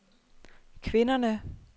kvinderne